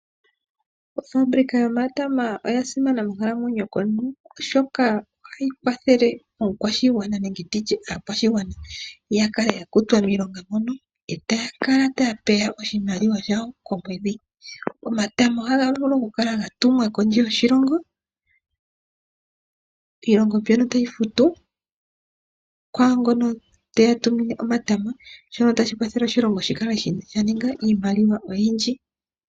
Ofabilika yomatama oya simana monkalamwenyo yomuntu oshoka ohayi kwathele oshigwana ya kutwe miilonga mono taya kala taya peya iimaliwa komwedhi. Omatama ohaga vulu okukala gatumwa kondje yoshilongo, iilongo mbyono tayi futu kwaangono teya tumine omatama. Shino ohashi kwathele oshilongo shi ninge iimaliwa oyindji.